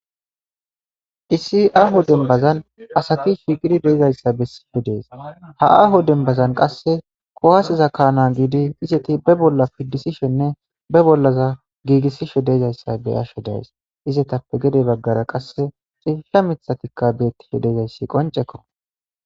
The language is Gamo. isi aaho dembazan asati shiiqidi deezayssa bessibi dees ha aho dembazan qasse kowaaseza kaana giidi izeti be bolla piddisishenne be bollaza giigissishe deezayssa bey asho days izetappe gede baggara qasse cilla mithatikka bettife dezayssi qoncekko